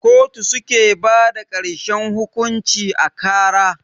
kotu suke bada karshen hukunci a kara.